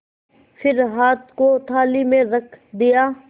फिर हाथ को थाली में रख दिया